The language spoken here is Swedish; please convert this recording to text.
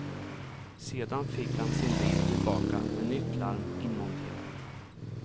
Sedan fick han sin bil tillbaka med nytt larm inmonterat.